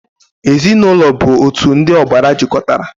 Ezinaụlọ bụ otu ndị ọbara jikọtara.